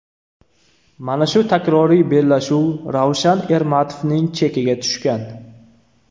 Mana shu takroriy bellashuv Ravshan Ermatovning chekiga tushgan.